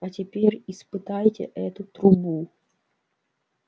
а теперь испытайте эту трубу